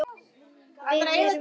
Við erum á áætlun.